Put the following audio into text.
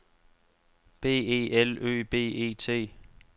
B E L Ø B E T